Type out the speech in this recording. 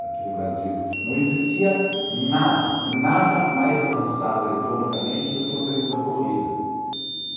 Aqui no Brasil não existia nada, nada mais avançado eletronicamente do que uma televisão colorida.